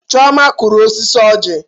Chioma kụrụ osisi ọjị.